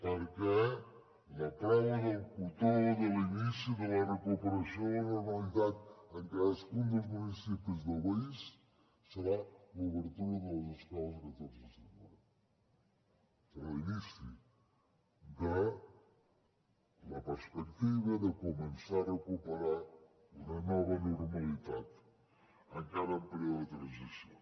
perquè la prova del cotó de l’inici de la recuperació de la normalitat en cadascun dels municipis del país serà l’obertura de les escoles el catorze de setembre serà l’inici de la perspectiva de començar a recuperar una nova normalitat encara en període de transició